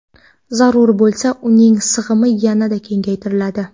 Zarur bo‘lsa uning sig‘imi yana kengaytiriladi.